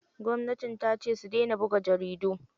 Gwamnati tace su daina buga jaridu.